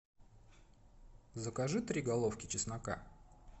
закажи три головки чеснока